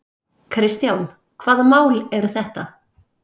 Kristján: Hvaða mál eru þetta?